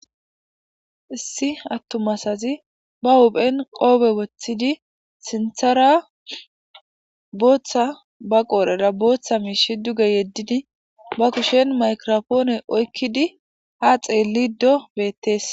Issi atuma asazi ba hu'en qofe wothidi sinthara Botha ba qodhera Botha mish duge yedidi ba kushen mayigrapone oykidi ha xelido betese